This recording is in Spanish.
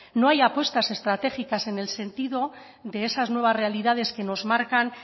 no no hay apuestas estratégicas en el sentido de esas nuevas realidades que nos marcan